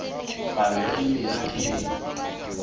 palo ya dimela ke e